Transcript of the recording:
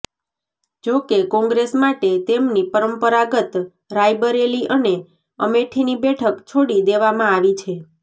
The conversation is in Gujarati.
જો કે કોંગ્રેસ માટે તેમની પરંપરાગત રાયબરેલી અને અમેઠીની બેઠક છોડી દેવામાં આવી છે